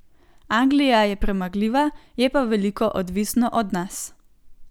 Anglija je premagljiva, je pa veliko odvisno od nas.